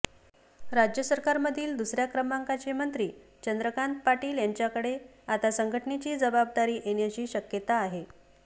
राज्य सरकारमधील दुसऱ्या क्रमांकाचे मंत्री चंद्रकांत पाटील यांच्याकडे आता संघटनेची जबाबदारी येण्याची शक्यता आहे